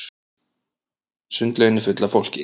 Sundlaugin er full af fólki.